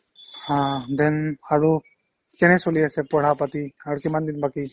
haa then আৰু কেনে চলি আছে পঢ়াপাতি আৰু কিমানদিন বাকি ?